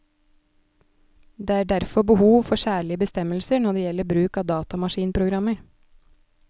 Det er derfor behov for særlige bestemmelser når det gjelder bruk av datamaskinprogrammer.